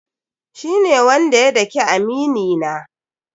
Shi ne wanda ya dake amini na.